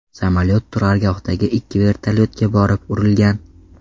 Samolyot turargohdagi ikki vertolyotga borib urilgan.